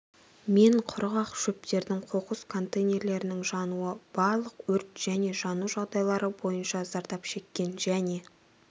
мен құрғақ шөптердің қоқыс контейнерлерінің жануы барлық өрт және жану жағдайлары бойынша зардап шеккен және